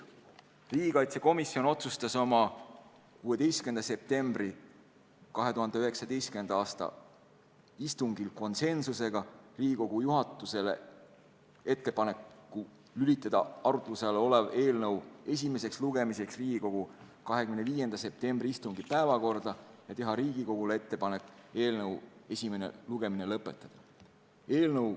Riigikaitsekomisjon otsustas oma 16. septembri 2019. aasta istungil teha Riigikogu juhatusele ettepaneku lülitada arutluse all olev eelnõu esimeseks lugemiseks Riigikogu 25. septembri istungi päevakorda ja teha Riigikogule ettepaneku eelnõu esimene lugemine lõpetada.